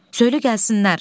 Söylə gəlsinlər.